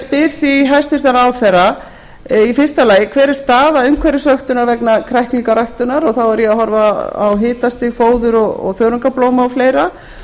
spyr því hæstvirtur ráðherra fyrstu hver er staða umhverfisvöktunar vegna kræklingaræktar þá er ég að horfa á hitastig fóður þörungablóma og fleiri